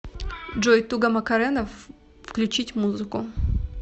джой туга макарена включить музыку